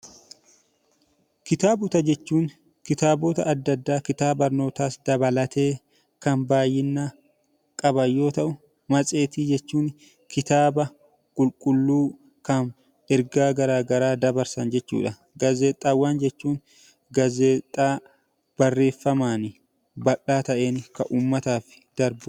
Kitaabota jechuun kitaabota adda addaa kitaaba barnootaas dabalatee kan baay'ina qaban yoo ta'u; Matseetii jechuun kitaaba qulqulluu kan ergaa garaa garaa dabarsan jechuu dha. Gaazexaawwan jechuun gaazexaa barreeffamaan bal'aa ta'een kan uummataaf darbu dha.